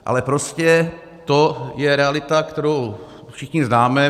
Ale prostě to je realita, kterou všichni známe.